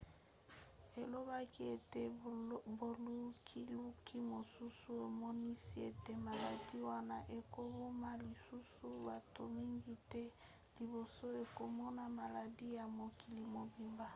alobaki ete bolukiluki mosusu emonisi ete maladi wana ekoboma lisusu bato mingi te liboso ekomona maladi ya mokili mobimba